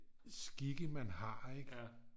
skikke man har ik